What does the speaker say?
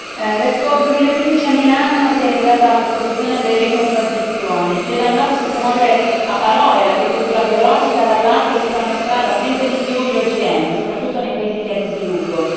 Signora Presidente, onorevoli colleghi, l'Expo 2015 a Milano si è rivelata l'esposizione delle contraddizioni. Se da un lato si promuove a parole l'agricoltura biologica, dall'altro si fanno strada sempre di più gli OGM soprattutto nei paesi in via di sviluppo.